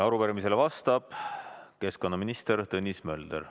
Arupärimisele vastab keskkonnaminister Tõnis Mölder.